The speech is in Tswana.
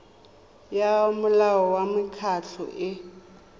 ya molao wa mekgatlho e